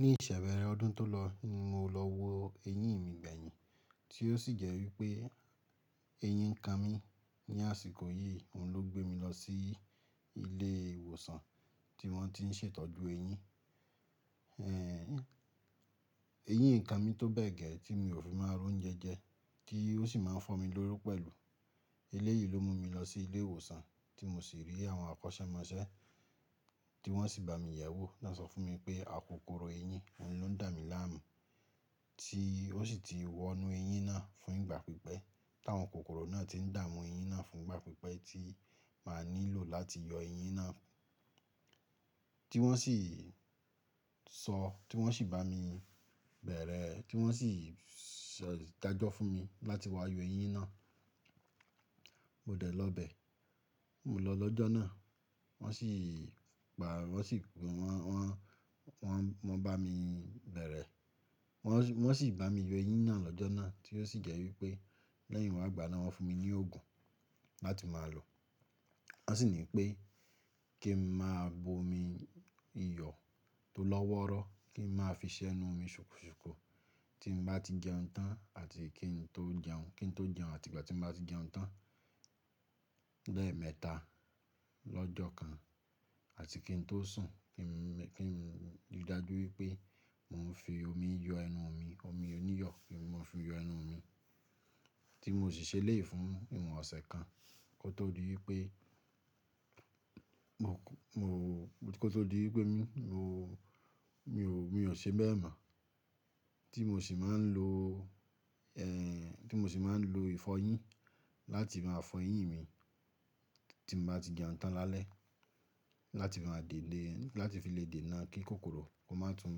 Ní ìṣẹ̀se bẹ̀rẹ̀ ọdún tó lọ ni mo lọ wo eyín mi gbẹ̀yìn, tí ó sì jẹ́ wípé eyín ń kan mi. Ni àsìkò yìí, òun ló gbé mi lọ sí ilé ìwòsàn tí wọ́n ti ń ṣètọ́jú eyín. Eyín e kan mi tó bẹ́ẹ̀ gẹ́ tí mi ò fi máa ri ounjẹ jẹ, tí ó sì máa ń fọ́ mi lóri pẹ̀lú. Elé yìí ló mú mi lọ sí ilé ìwòsàn tí mo sì rí àwọn akọ́sẹ́mọsẹ́ tí wọ́n sì bá mi yẹ̀wò ná sọ fún mi pé, akokoro eyín, òun ló ń dà mí láàmú tí ó sì ti wọnú eyín náà fún ìgbà pípẹ́, táwọn kokoro náà ti ń dààmú eyín náà fún ìgbà pípẹ́ tí màá nílò láti yọ eyín náà. Tí wọ́n sì sọ, tí wọ́n sì bá mi bẹ̀rẹ̀, tí wọ́n sì dàjọ́ fún mi láti wá yọ eyín náà. Mo dẹ̀ lọ bẹ̀, mo lọ lọ́jọ́ náà. Wọ́n sì ba, wọ́n sì wọ́n, wọ́n, wọ́n bá mi bẹ̀rẹ̀. Wọ́n sì bá mi yọ eyín náà lọ́jọ́ náà tí ó sì jẹ́ wípé lẹ́yìn wá gbà náà wọ́n fún mi ní òògùn láti máa lò. Wọ́n sì ní pé kí n máa bo omi iyọ̀ tó lọ́wọ́rọ́, kí n máa fi ṣẹnu mi ṣùkú ṣùkú tí n bá ti jẹun tán àti kí n tó jẹun, kí n tó jẹun àti ìgbà tí n bá ti jẹun tán. Lẹ́ẹ̀mẹta lọ́jọ́ kan àti kí n tó sùn kí n rí i dájú wípé mò ń fi omi yọ ẹnu mi, omi oníyọ̀ kí n máa fi yọ ẹnu mi tí mò sì ṣeléyìí fún ìwọ̀n ọ̀sẹ̀ kan kó tó di wípé, mó kò tó di wípé mi, mo, mi ò, mi ò ṣe bẹ́ẹ̀ mọ̀ tí mò sì máa ń lo, tí mò sì máa ń lo ìfọyín láti máa fọ eyín mi tí mo bá ti jẹun tán lálẹ́ láti máa dè lè, láti fi lè dè náà kí kokoro kó má tún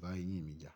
bá eyín mi jà.